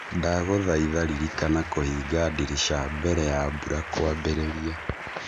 ndagũthaitha rĩrĩkana kũhinga ndirica mbere ya mbura kwambĩrĩria